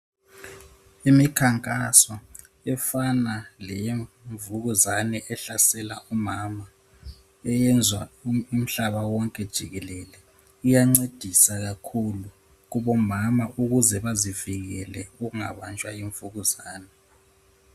Imikhankaso efana leyemvukuzane ehlasela umama eyenzwa umhlaba wonke jikelele, iyancedisa kakhulu kubomama ukuze bazivikele ukungabanjwa yimvukuzane.